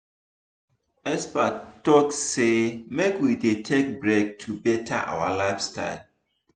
experts talk say make we dey take break to better our lifestyle.